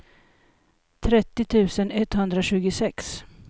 trettio tusen etthundratjugosex